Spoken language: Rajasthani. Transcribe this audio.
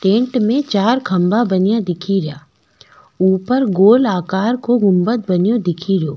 टेन्ट में चार खम्भा बने दिखेरा ऊपर में गोला आकर को गुम्बद बने दिखेरो।